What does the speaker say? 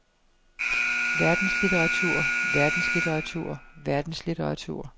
verdenslitteratur verdenslitteratur verdenslitteratur